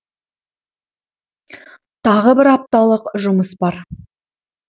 тағы бір апталық жұмыс бар